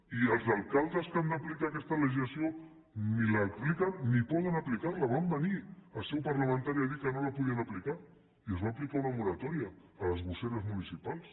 i els alcaldes que han d’aplicar aquesta legislació ni l’apliquen ni poden aplicar la van venir en seu parlamentària a dir que no la podien aplicar i es va aplicar una moratòria a les gosseres municipals